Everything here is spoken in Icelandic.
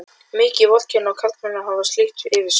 Mikið vorkenni ég karlmönnum að hafa slíkt yfir sér.